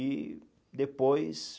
E depois...